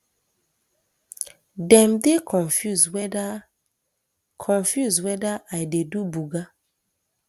dem dey confuse weda confuse weda i dey do buga